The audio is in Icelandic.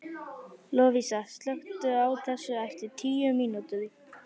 Lovísa, slökktu á þessu eftir tíu mínútur.